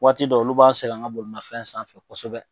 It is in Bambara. Waati dɔw olu b'an sɛgɛn an ga bolimafɛn sanfɛ kosɛbɛ